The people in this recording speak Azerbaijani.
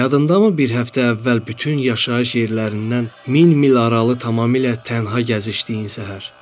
Yadındamı bir həftə əvvəl bütün yaşayış yerlərindən min mil aralı tamamilə tənha gəzişdiyin səhər.